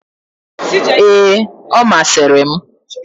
Ee, ọ masịrị m.